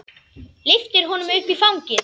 Lyftir honum upp í fangið.